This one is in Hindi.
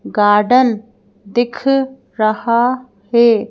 गार्डन दिख रहा है।